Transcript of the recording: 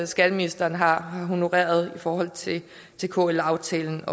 skatteministeren har honoreret i forhold til kl aftalen